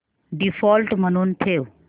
default म्हणून ठेव